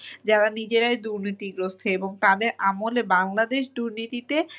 যারা নিজেরাই দুর্নীতিগ্রস্ত এবং তাদের আমলে বাংলাদেশ দুর্নীতিতে